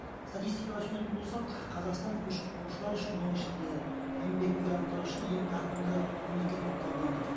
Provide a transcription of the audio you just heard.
статистикаға сүйенетін болсақ қазақстан көшіп қонушылар үшін оның ішінде еңбек мигранттары үшін ең тартымды мемлекет болып табылады